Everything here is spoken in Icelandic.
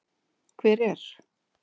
Hver er.